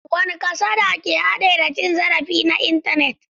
Wadanne kasada ke hade da cin zarafi na intanet?